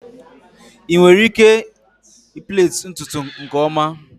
ị nwere ike plait ntutu nke ọma?